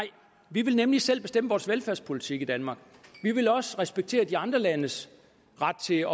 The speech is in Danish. vi vil nemlig selv bestemme vores velfærdspolitik i danmark vi vil også respektere de andre landes ret til